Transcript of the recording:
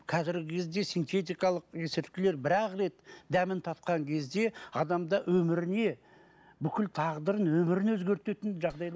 қазіргі кезде синтетикалық есірткілер бір ақ рет дәмін татқан кезде адамда өміріне бүкіл тағдырын өмірін өзгертетін